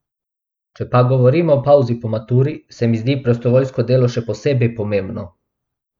Če pa govorimo o pavzi po maturi, se mi zdi prostovoljsko delo še posebej pomembno.